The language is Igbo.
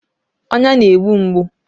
Ọnya na-egbu mgbu